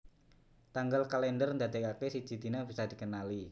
Tanggal kalèndher ndadèkaké siji dina bisa dikenali